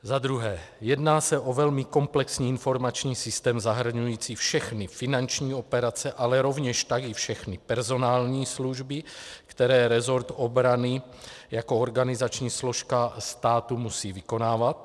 Za druhé, jedná se o velmi komplexní informační systém, zahrnující všechny finanční operace, ale rovněž tak i všechny personální služby, které resort obrany jako organizační složka státu musí vykonávat.